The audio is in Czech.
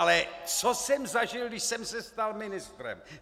Ale co jsem zažil, když jsem se stal ministrem?